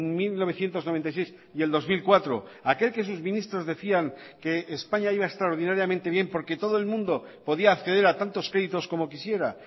mil novecientos noventa y seis y el dos mil cuatro aquel que sus ministros decían que españa iba extraordinariamente bien porque todo el mundo podía acceder a tantos créditos como quisiera